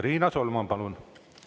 Riina Solman, palun!